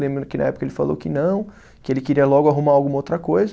Lembro que na época ele falou que não, que ele queria logo arrumar alguma outra coisa.